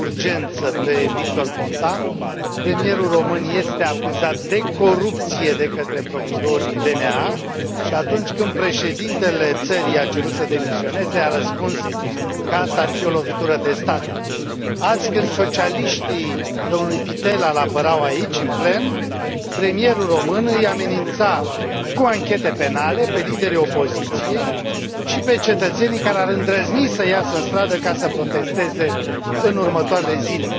Domnule președinte, regret că parlamentul nostru nu a acceptat să l audieze de urgență pe Victor Ponta. Premierul român este acuzat de corupție de către procurorii DNA și atunci când președintele țării i a cerut să demisioneze a răspuns că aceasta ar fi o lovitură de stat. Azi când socialiștii domnului Pittella îl apărau aici, în plen, premierul român îi amenința cu anchete penale pe liderii opoziției și pe cetățenii care ar îndrăzni să iasă în stradă ca să protesteze în următoarele zile.